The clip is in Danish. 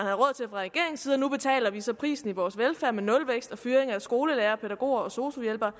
regeringens side og nu betaler vi så prisen i vores velfærd med nulvækst og fyring af skolelærere pædagoger og sosu hjælpere